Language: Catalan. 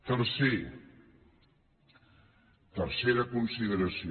tercer tercera consideració